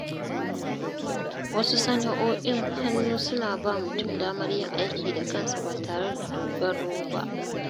Wasu sana’o’in hannu suna ba mutum damar yin aiki da kansa ba tare da dogaro ba.